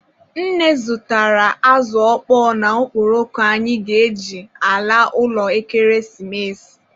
Nne zụtara azụ ọkpọọ na okporoko anyị ga-eji ala ụlọ ekeresimesi.